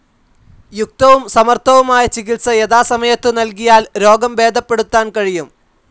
യുക്തവും സമർഥവുമായ ചികിത്സ യഥാസമയത്തു നൽകിയാൽ രോഗം ഭേദപ്പെടുത്താൻ കഴിയും.